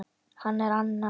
Hann er annað